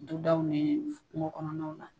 Dudaw ni kungo kɔnɔnaw la